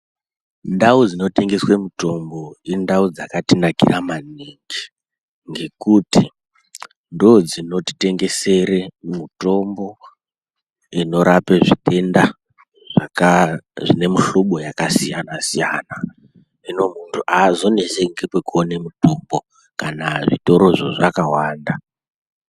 Ndau dzinotengeswe mutombo, indau dzakatinakira maningi, ngekuti ndodzinotitengesere mutombo inorape zvitenda zvaka zvine mihlobo yakasiyana-siyana. Hino muntu aazoneseki kwekuone mutombo, kana zvitorozvo zvakawanda.